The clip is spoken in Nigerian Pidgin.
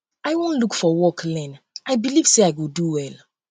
i wan look for work learn i believe say i go do well um